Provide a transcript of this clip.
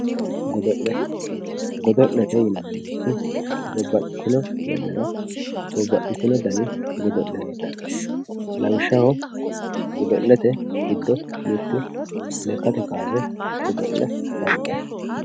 godo'le. godo'lete yinannirichi babbaxxitino yannara babbaxxitino godo'le heedhanno lawishshaho godo'lete giddo mittu lekkate kaase godo'le afantanno.